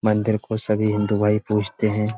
मंदिर को सभी हिन्दू भाई पूजते हैं।